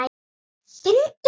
Finndu bara!